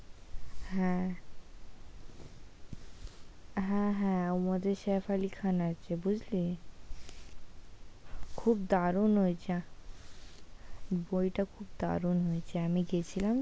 হ্যাঁ, হ্যাঁ হ্যাঁ বইটাতে সইফ আলী খান আছে বুঝলি খুব দারুন ওইটা বইটা খুব দারুন হয়েছে। আমি গেছিলাম তো, "